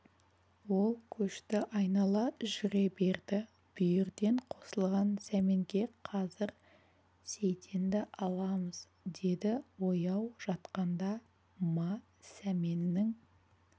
ол көшті айнала жүре берді бүйірден қосылған сәменге қазір сейтенді аламыз деді ояу жатқанда ма сәменнің